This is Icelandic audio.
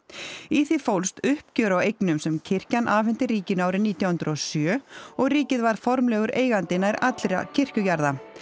í því fólst uppgjör á eignum sem kirkjan afhenti ríkinu árið nítján hundruð og sjö og ríkið varð formlegur eigandi nær allra kirkjujarða